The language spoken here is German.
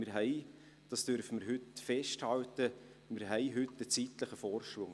Heute haben wir – dies dürfen wir festhalten – einen zeitlichen Vorsprung.